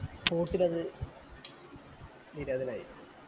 spot ലത് നിര്യാതനായി